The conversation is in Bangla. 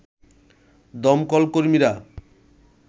দমকল কর্মীরা